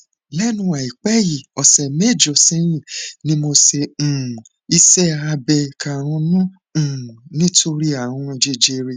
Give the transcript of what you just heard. lẹnu àìpẹ yìí ọsẹ mẹjọ sẹyìn ni mo um ṣe iṣẹ abẹ karùnún um nítorí ààrùn jẹjẹrẹ